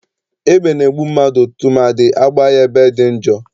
Egbe na-egbu mmadụ tụmadị agbaa ya ebe dị njọ.